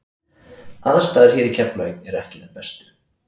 Aðstæður hér í Keflavík eru ekki þær bestu.